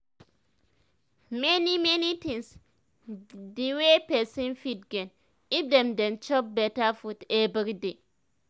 many many things dey wey pesin fit gain if dem dey chop beta food everyday